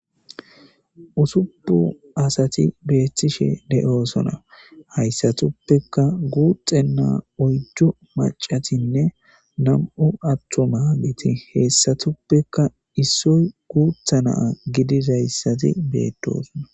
usupu asati beettishe de'osonna hayssatuppeka guuxxenaa oyddu macatinne nam7u attuma nati heessatuppekka issoy guutha naa gidizayssati beettosona